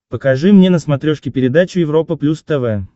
покажи мне на смотрешке передачу европа плюс тв